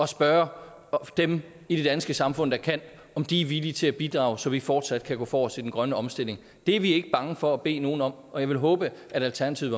spørge dem i det danske samfund der kan om de er villige til at bidrage så vi fortsat kan gå forrest i den grønne omstilling det er vi ikke bange for at bede nogen om at og jeg vil håbe at alternativet